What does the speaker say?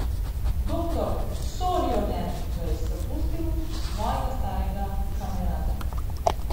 Doktor Sorjonen ga je zapustil, svojega starega kamerada.